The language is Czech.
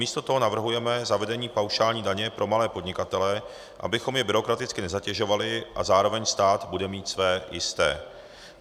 Místo toho navrhujeme zavedení paušální daně pro malé podnikatele, abychom je byrokraticky nezatěžovali, a zároveň stát bude mít své jisté.